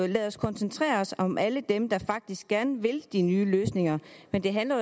lad os koncentrere os om alle dem der faktisk gerne vil de nye løsninger men det handler